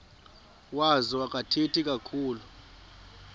wazo akathethi kakhulu